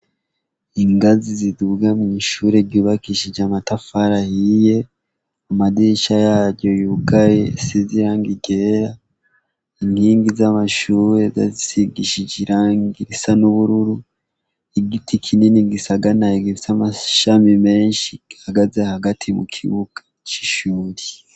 Ingazi ziduga mw'ishure ryubakishije amatafari ahiye amadirisha yaryo yugaye asize irangi ryera ku nkingi ry'amashure basize irangi ry'ubururu, igiti kinini gisagamaye c'amashami menshi gihagaze hagati mu kibuga c'ishure.